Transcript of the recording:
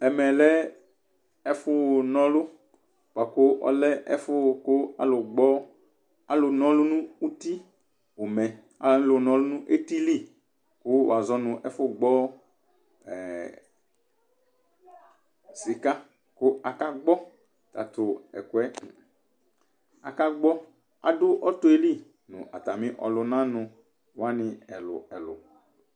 Ɛmɛlɛ aƒʊŋɔlʊ Ɓuaƙʊ ɔlɛ ɛƒʊ ƙalʊgɓɔ, ƙalʊŋumɛ Alʊnɔlʊŋʊ ʊtɩlɩ, ƙʊ wazɔ ŋʊ ɛfʊgbɔ sika Kʊ akagbɔ tatʊɛƙoɛ Aƙagbɔ, aɖʊ ɔtɔlɩ ŋʊ atani ɔlunanuwanɩ ɛlʊ ɛlʊ